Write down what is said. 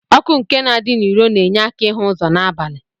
Ọkụ nke na adi n'iru na enye aka ihu ụzọ na abali.